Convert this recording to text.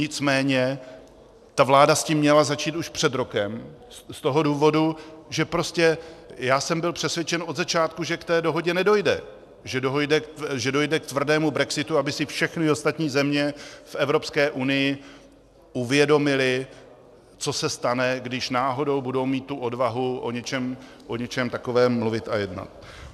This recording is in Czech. Nicméně ta vláda s tím měla začít už před rokem z toho důvodu, že prostě já jsem byl přesvědčen od začátku, že k té dohodě nedojde, že dojde k tvrdému brexitu, aby si všechny ostatní země v Evropské unii uvědomily, co se stane, když náhodou budou mít tu odvahu o něčem takovém mluvit a jednat.